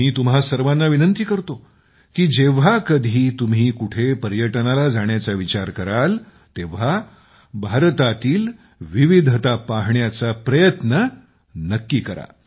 मी तुम्हा सर्वांना विनंती करतो की जेव्हा कधी तुम्ही कुठेतरी पर्यटनाला जाण्याचा विचार कराल तेव्हा भारतातील विविधता पाहण्याचा प्रयत्न नक्की करा